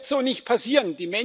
Das wird so nicht passieren.